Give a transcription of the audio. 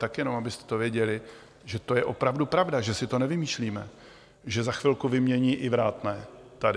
Tak jenom abyste to věděli, že to je opravdu pravda, že si to nevymýšlíme, že za chvilku vymění i vrátné tady.